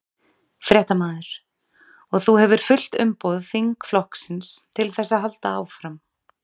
Fréttamaður: Og þú hefur fullt umboð þingflokksins til þess að halda áfram?